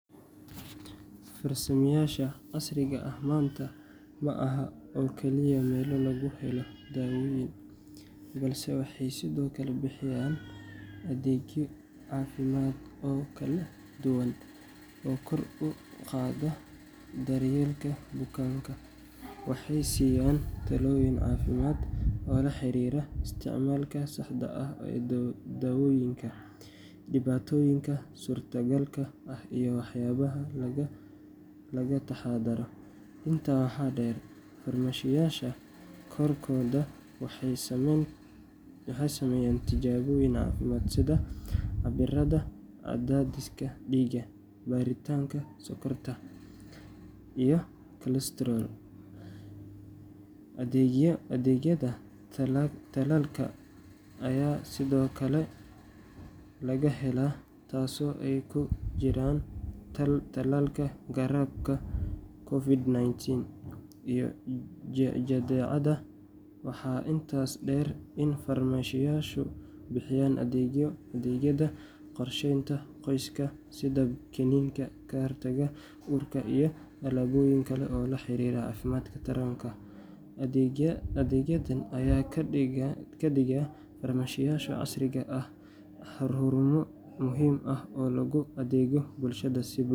Farmashiyeyaasha casriga ah maanta ma ahan oo keliya meelo lagu helo daawooyin, balse waxay sidoo kale bixiyaan adeegyo caafimaad oo kala duwan oo kor u qaada daryeelka bukaanka. Waxay siiyaan talooyin caafimaad oo la xiriira isticmaalka saxda ah ee daawooyinka, dhibaatooyinka suurtagalka ah iyo waxyaabaha laga taxaddaro. Intaa waxaa dheer, farmashiyeyaasha qaarkood waxay sameeyaan tijaabooyin caafimaad sida cabbiraadda cadaadiska dhiigga, baaritaanka sonkorta, iyo cholesterol. Adeegyada tallaalka ayaa sidoo kale laga helaa, taasoo ay ku jiraan tallaalka hargabka, COVID-19, iyo jadeecada. Waxaa intaas dheer in farmashiyeyaashu bixiyaan adeegyada qorsheynta qoyska sida kiniiniga ka hortagga uurka iyo alaabooyin kale oo la xiriira caafimaadka taranka. Adeegyadan ayaa ka dhigaya farmashiyeyaasha casriga ah xarumo muhiim ah oo loogu adeego bulshada.